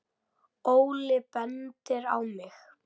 Óli bendir á mig: